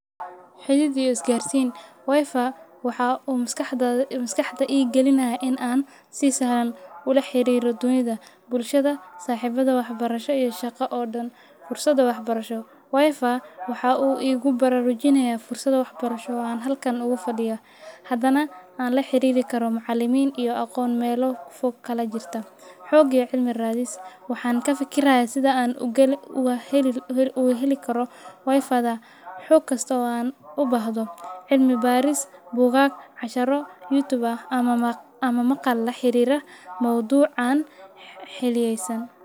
Xirir iyo is gaarsiin wifi waxaa u maskaxda igalinaya in aan si sahlan u laxariiro dunyada bulshada saxibada waxbarasha iyo shaqo oo dhan fursada waxbarasho wifi waxuu igu bararujinaya fursad waxbarasho oo aan halkan ogu fadhiya. Hadana aan laxiriri karo macalimin iyo aqoon melo fog kalajirta xog iyo cilmi raadis waxaan kafikiraya sidaan oga heli karo wifi da xog kasto aan oga bahdo cilmi baaris, bugaag, casharo youtube ah ama maqal laxariiro mawduc aan xiliyeysan.